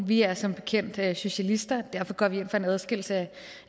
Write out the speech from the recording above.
vi er som bekendt socialister og derfor går vi ind for en adskillelse